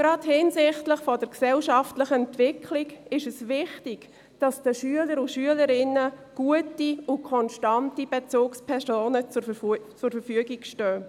Gerade hinsichtlich der gesellschaftlichen Entwicklung ist es wichtig, dass den Schülern und Schülerinnen gute und konstante Bezugspersonen zur Verfügung stehen.